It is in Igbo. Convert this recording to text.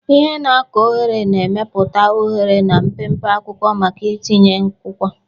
Ihe na-akụ oghere na-emepụta oghere na mpempe akwụkwọ maka ntinye akwụkwọ.